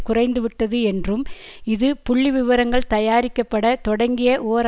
குறைந்துவிட்டது என்றும் இது புள்ளிவிவரங்கள் தயாரிக்கப்பட தொடங்கிய ஓர்